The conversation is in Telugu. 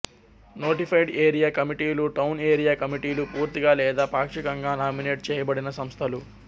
నోటిఫైడ్ ఏరియా కమిటీలు టౌన్ ఏరియా కమిటీలు పూర్తిగా లేదా పాక్షికంగా నామినేట్ చేయబడిన సంస్థలు